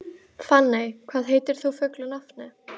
Fanney, hvað heitir þú fullu nafni?